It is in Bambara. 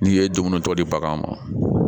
N'i ye dumuni tɔ di bagan ma